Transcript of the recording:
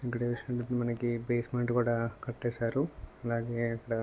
ఇక్కడ చూసినట్టయితే మనకి బేస్మెంట్ కూడా కట్టేసారు అలాగే ఇక్కడ- -